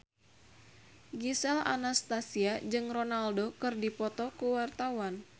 Gisel Anastasia jeung Ronaldo keur dipoto ku wartawan